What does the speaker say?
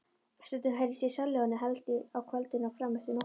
Stundum heyrðist í sellóinu, helst á kvöldin og frameftir nóttu.